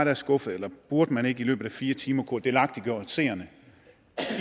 er skuffet eller burde man ikke i løbet af fire timer have kunnet delagtiggøre os